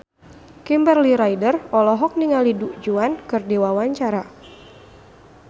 Kimberly Ryder olohok ningali Du Juan keur diwawancara